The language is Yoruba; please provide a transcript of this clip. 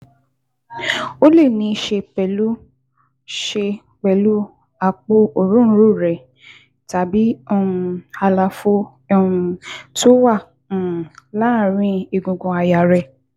Ó lè níí ṣe pẹ̀lú ṣe pẹ̀lú àpò òróǹro rẹ tàbí um àlàfo um tó wà um láàárín egungun àyà rẹ